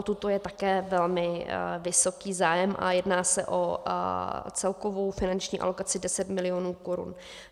O tuto je také velmi vysoký zájem a jedná se o celkovou finanční alokaci 10 milionů korun.